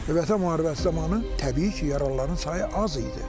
Vətən müharibəsi zamanı təbii ki, yaralıların sayı az idi.